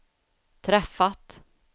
träffat